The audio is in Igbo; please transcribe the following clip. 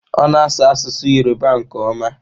Ọ na-asụ asụsụ Yọrụba nke ọma.